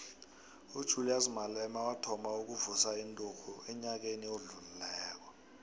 ujulias malema wathoma ukuvusa inturhu enyakeni odlulileko